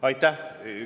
Aitäh!